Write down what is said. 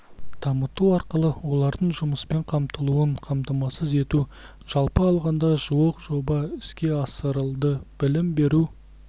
дамыту арқылы олардың жұмыспен қамтылуын қамтамасыз ету жалпы алғанда жуық жоба іске асырылды білім беру